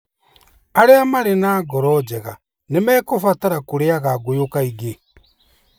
Arĩa marĩ na ngoro njega nĩ mekũbatara kũrĩaga ngũyũ kaingĩ.